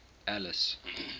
alice